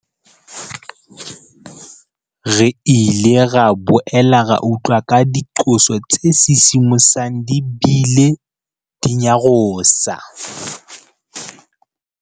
Re ile ra boela ra utlwa ka diqoso tse sisimosang di bile di nyarosa.